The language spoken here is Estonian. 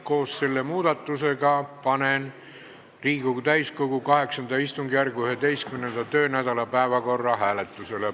Koos selle muudatusega panen Riigikogu täiskogu VIII istungjärgu 11. töönädala päevakorra hääletusele.